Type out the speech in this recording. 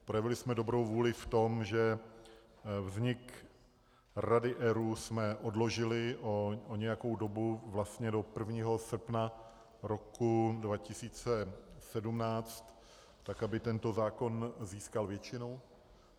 Projevili jsme dobrou vůli v tom, že vznik Rady ERÚ jsme odložili o nějakou dobu vlastně do 1. srpna roku 2017, tak aby tento zákon získal většinu.